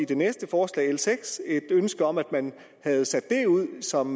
det næste forslag l seks et ønske om at man havde sendt det ud som